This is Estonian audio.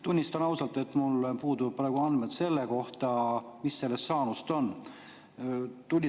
Tunnistan ausalt, et mul puuduvad praegu andmed selle kohta, mis sellest saanud on.